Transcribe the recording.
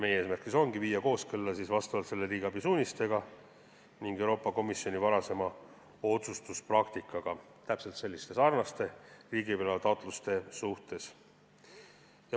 Meie eesmärk ongi viia seadused kooskõlla riigiabi suunistega ning Euroopa Komisjoni varasema otsustuspraktikaga, mis puudutab sarnaseid riigiabi loa taotlusi.